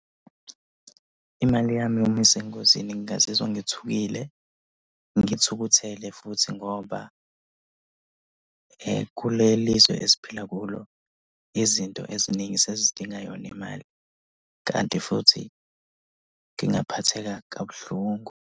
Imali yami uma isengozini ngingazizwa ngithukile. Ngithukuthele futhi ngoba kuleli zwe esiphila kulo izinto eziningi sezidinga yona imali. Kanti futhi ngingaphatheka kabuhlungu.